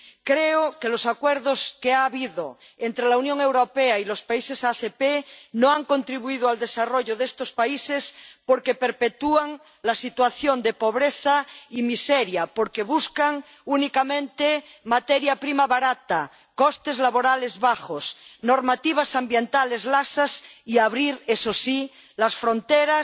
Creo que los acuerdos que ha habido entre la Unión Europea y los países ACP no han contribuido al desarrollo de estos países porque perpetúan la situación de pobreza y miseria, porque buscan únicamente materia prima barata, costes laborales bajos y normativas ambientales laxas y abrir, eso sí, las fronteras